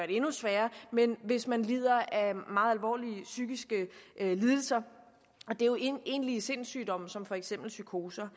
endnu sværere hvis man lider af meget alvorlige psykiske lidelser og det er jo egentlige sindssygdomme som for eksempel psykoser